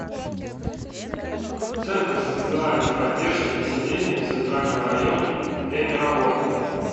центр социальной поддержки населения в центральном районе время работы